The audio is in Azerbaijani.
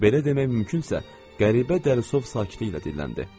belə demək mümkünsə, qəribə Dərisov sakitliyi ilə dinləndi.